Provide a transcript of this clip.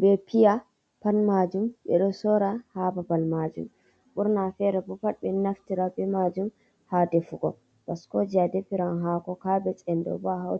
ɓe piya ,pat majum ɓe ɗo sora ha ɓaɓal majum burna fere ɓo pat ɓe naftira ɓe majum ha ɗefugo bascoje a ɗefiran hako cabej en ɗo ɓo a hautiran.